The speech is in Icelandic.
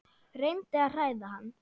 Reyndi að hræða hann.